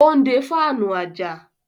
ó ń de fáànù àjà.